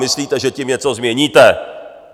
Myslíte, že tím něco změníte?